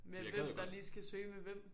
Med hvem der lige skal søge med hvem